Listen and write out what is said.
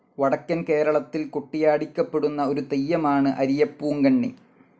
വടക്കൻ കേരളത്തിൽ കൊട്ടിയാടിക്കപ്പെടുന്ന ഒരു തെയ്യമാണ് അരിയപ്പൂങ്കണ്ണി.